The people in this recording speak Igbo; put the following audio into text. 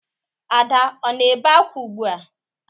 Ada ọ na-ebe ákwá ugbua?